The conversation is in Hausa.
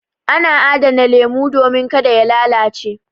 Ana adana lemu domin ka da ya lalace.